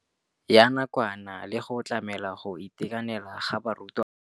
Ya nakwana le go tlamela go itekanela ga barutwana.